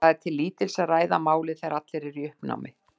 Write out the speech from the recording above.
Það er til lítils að ræða málið þegar allir eru í uppnámi.